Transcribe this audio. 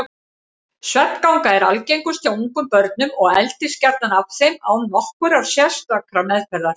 Svefnganga er algengust hjá ungum börnum og eldist gjarnan af þeim án nokkurrar sérstakrar meðferðar.